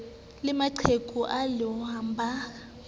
le maqheku a lenyalong ba